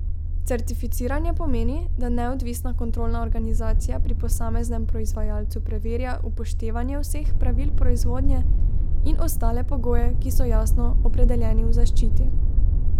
Certificiranje pomeni, da neodvisna kontrolna organizacija pri posameznem proizvajalcu preverja upoštevanje vseh pravil proizvodnje in ostale pogoje, ki so jasno opredeljeni v zaščiti.